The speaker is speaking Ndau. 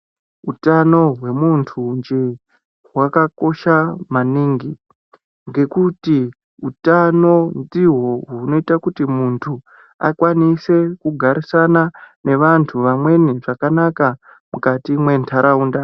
Utano hwemuntu nje hwakakosha maningi ngekuti utano ndihwo hunoita kuti muntu akwanise kugarisana neantu amweni zvakanaka mukati mwentaraunda.